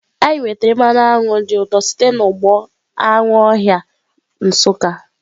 Anyị nwetara mmanụ aṅụ dị ụtọ site n'ugbo anụ ọhịa Nsukka.